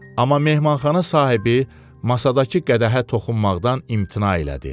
Amma mehmanxana sahibi masadakı qədəhə toxunmaqdan imtina elədi.